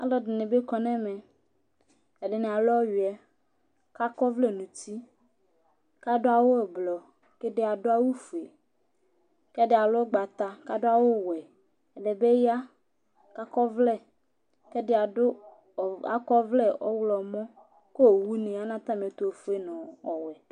Alʋɛdìní bi kɔ ŋu ɛmɛ Ɛɖìní alu ɔwʋɛ kʋ akɔ ɔvlɛ ŋu ʋti kʋ aɖu awu ɛblɔ kʋ ɛɖì aɖu awu fʋe kʋ ɛɖì alu ʋgbata kʋ aɖu awu wɛ Ɛɖìbi ya kʋ akɔ ɔvlɛ ɔwlɔmɔ kʋ owu ni ya ŋu atami ɛtu ɔfʋe ŋu ɔwɛ